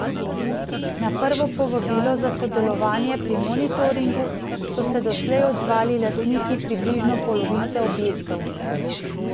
Na prvo povabilo za sodelovanje pri monitoringu so se doslej odzvali lastniki približno polovice objektov.